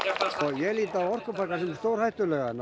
ég lít á orkupakkann sem stórhættulegan